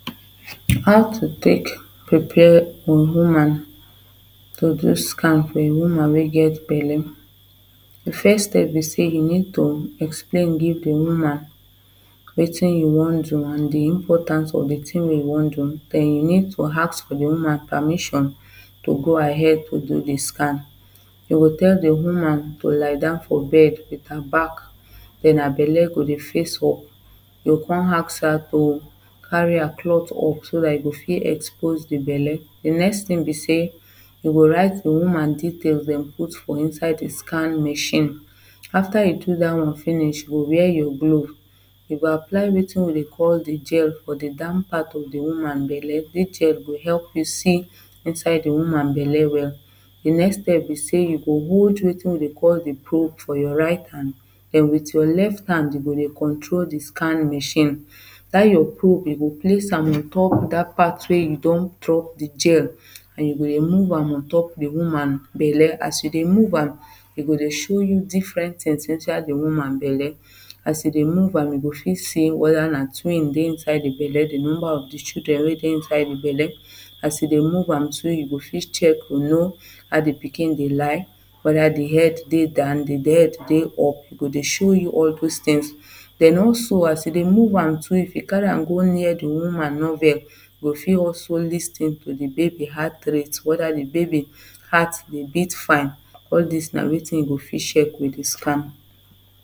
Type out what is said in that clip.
How to take prepare for woman to do scan woman wey get belle The first step be say you need to explain give the woman wetin you wan do and the importance of the thing you wan do and you need to ask the woman permission to go ahead to do the scan. You go tell the woman to lie down for bed with her back then her belle go dey face up you go come ask her to carry her clothe up so that you go fit expose the belle the next thing be sey you go write the woman detail dem put for inside the scan machine after you do that one finish you wear your glove you go apply wetin we call the gel for the down part of the woman belle this gel go help you see inside the woman belle well The next step be say you go hold wetin we dey call the probe for your right hand then with your left hand you go dey control the scan machine that your probe you go place am on top that part wey you don drop the gel and you go dey move am on top the woman belle. As you dey move am e go dey show you different things inside the woman belle. As you dey move am you go fit see whether na twin dey inside the belle, the number of the children weydey inside the belle as you dey move am to you go fit check to know how the pikin dey lie whether the head dey down the head dey up e go dey show you all those things. Then also as you dey move am too if you carry am go near the woman navel you go fit also lis ten to the baby heart rate whether the baby heart dey beat fine all this nawetin you go fit check with the scan